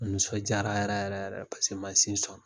An nisɔndiyara yɛrɛ yɛrɛ yɛrɛ mansin sɔnna